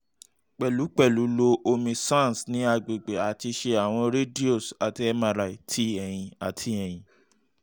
pẹlupẹlu lo omi ṣan ni agbegbe ati ṣe awọn radios ati mri ti ẹhin ati ẹhin